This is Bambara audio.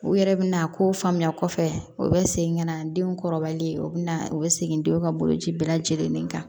U yɛrɛ bɛna kow faamuya kosɛbɛ u bɛ segin ka na denw kɔrɔbali u bɛ na u bɛ segin denw ka boloci bɛɛ lajɛlen kan